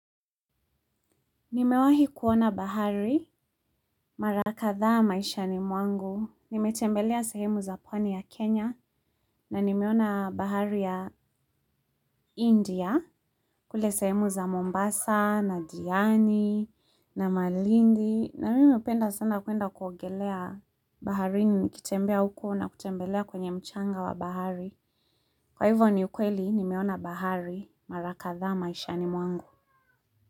Nimewahi kuona bahari, mara kadhaa maishani mwangu, nimetembelea sehemu za pwani ya Kenya, na nimeona bahari ya India, kule sehemu za Mombasa, na Diani, na Malindi, na mimi napenda sana kuenda kuogelea baharini nikitembea huko na kutembelea kwenye mchanga wa bahari. Kwa hivyo ni ukweli, nimeona bahari, mara kadhaa maishani mwangu.